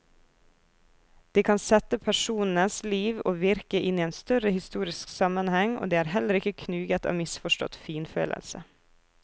De kan sette personens liv og virke inn i en større historisk sammenheng, og de er heller ikke knuget av misforstått finfølelse.